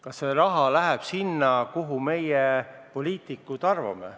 Kas see raha läheb sinna, kuhu meie, poliitikud, õigeks peame?